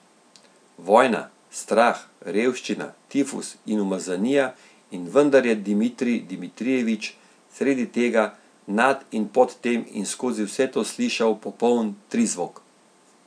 Vojna, strah, revščina, tifus in umazanija, in vendar je Dmitrij Dmitrijevič sredi tega, nad in pod tem in skozi vse to slišal popoln trizvok.